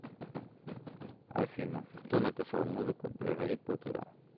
афина кто написал музыку для гарри поттера